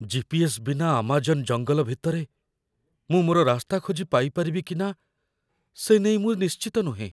GPS. ବିନା Amazon ଜଙ୍ଗଲ ଭିତରେ ମୁଁ ମୋର ରାସ୍ତା ଖୋଜି ପାଇପାରିବି କି ନା, ସେ ନେଇ ମୁଁ ନିଶ୍ଚିତ ନୁହେଁ।